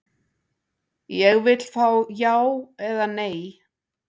Ég vill fá já eða nei.